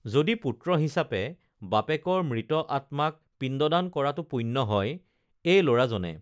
যদি পুত্ৰ হিচাবে বাপেকৰ মৃত আত্মাক পিণ্ডদান কৰাতো পুণ্য হয় এই লৰাজনে